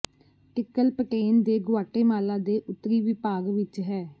tickle Peten ਦੇ Guatemala ਦੇ ਉੱਤਰੀ ਵਿਭਾਗ ਵਿਚ ਹੈ